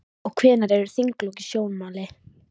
Og hvenær eru þinglok í sjónmáli?